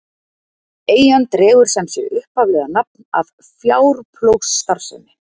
Eyjan dregur sem sé upphaflega nafn af fjárplógsstarfsemi.